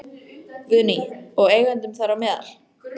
Guðný: Og eigendum þar á meðal?